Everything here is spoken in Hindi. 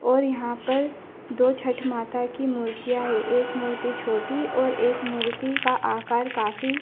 और यहां पर दो छठ माता की मूर्तियां है एक मूर्ति छोटी और एक मूर्ति का आकार काफी--